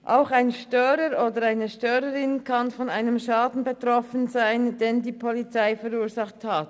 Auch ein Störer oder eine Störerin kann von einem Schaden betroffen sein, den die Polizei verursacht hat.